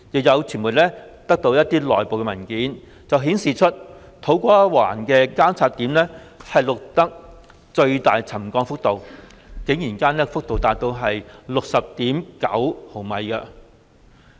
有傳媒取得的內部文件顯示，土瓜灣的監測點錄得最大的沉降幅度，竟然高達 60.9 毫米。